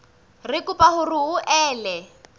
re kopa hore o ele